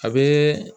A bɛ